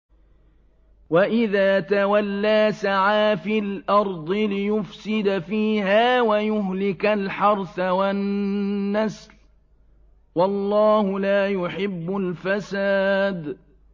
وَإِذَا تَوَلَّىٰ سَعَىٰ فِي الْأَرْضِ لِيُفْسِدَ فِيهَا وَيُهْلِكَ الْحَرْثَ وَالنَّسْلَ ۗ وَاللَّهُ لَا يُحِبُّ الْفَسَادَ